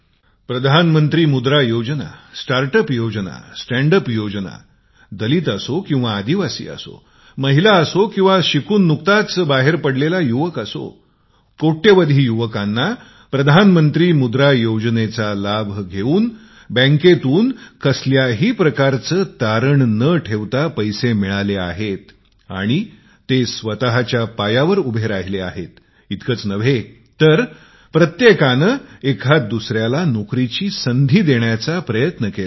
प्रधानमंत्री मुद्रा योजना स्टार्ट अप योजना स्टँड अप दलित असो या आदिवासी असो महिला असो किंवा शिकून नुकताच बाहेर पडलेले युवक करोडो करोडो युवकांना प्रधानमंत्री मुद्रा योजनेचा लाभ घेऊन बँकेतून कसल्याही प्रकारचे तारण न ठेवता पैसे मिळतील आणि ते स्वतच्या पायावर उभे राहतील इतकेच नव्हे तर प्रत्येकाने एकदा दुसऱ्याला नोकरीची संधी देण्याचा प्रयत्न करावा